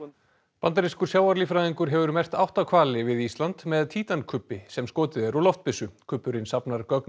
bandarískur sjávarlíffræðingur hefur merkt átta hvali við Ísland með sem skotið er úr loftbyssu kubburinn safnar gögnum